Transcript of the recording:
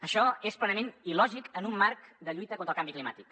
això és plenament il·lògic en un marc de lluita contra el canvi climàtic